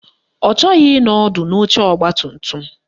Ọ chọghị ịnọ ọdụ n'oche ọgbatumtum